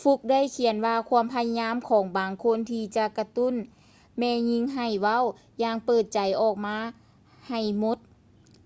ຟຼຸກຄ໌ fluke ໄດ້ຂຽນວ່າ ຄວາມພະຍາຍາມຂອງບາງຄົນ ທີ່ຈະກະຕຸ້ນແມ່ຍິງໃຫ້ເວົ້າຢ່າງເປີດໃຈອອກມາໃຫ້ໝົດ